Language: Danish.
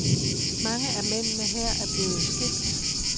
Mange af mændene her er blevet skilt.